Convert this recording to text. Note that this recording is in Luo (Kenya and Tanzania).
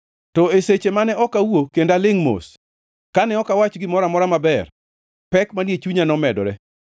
To e seche mane ok awuo kendo alingʼ mos, kane ok awach gimoro amora maber, pek manie chunya nomedore.